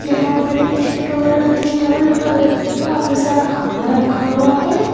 यहां पर stall stall पर काफी सारा खाना रखा हुआ है।